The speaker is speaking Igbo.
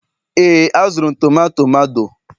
ee, azụrụ m tomato mado